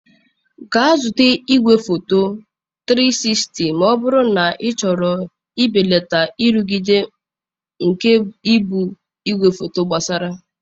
Gaa zụta igwefoto 360 ma ọ bụrụ na ịchọrọ ibelata nrụgide nke ibu igwefoto gbasara.